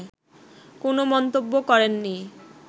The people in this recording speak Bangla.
কোনো মন্তব্য করেননি